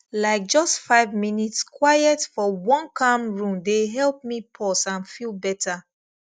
like just five minutes quiet for one calm room dey help me pause and feel better